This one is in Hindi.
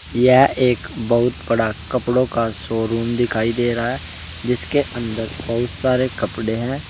यह एक बहुत बड़ा कपड़ों का शोरूम दिखाई दे रहा है जिसके अंदर बहुत सारे कपड़े हैं।